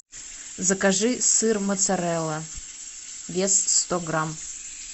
закажи сыр моцарелла вес сто грамм